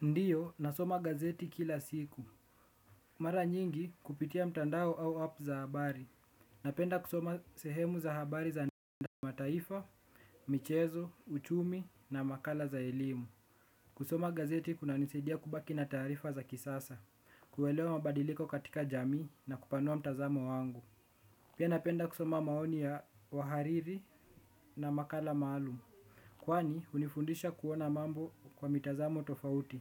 Ndiyo, nasoma gazeti kila siku. Mara nyingi kupitia mtandao au app za habari. Napenda kusoma sehemu za habari za nima taifa, michezo, uchumi na makala za elimu. Kusoma gazeti kuna nisadia kubaki na tarifa za kisasa. Kuelewa mabadiliko katika jamii na kupanua mtazamo wangu. Pia napenda kusoma maoni ya wahariri na makala malumu. Kwani, unifundisha kuona mambo kwa mitazamo tofauti.